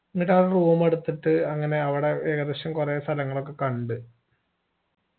എന്നിട്ടവിട room എടുത്തിട്ട് അങ്ങനെ അവിടെ ഏകദേശം കൊറേ സ്ഥലങ്ങളൊക്കെ കണ്ട്